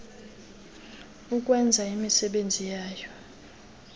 ukwenza imisebenzi yayo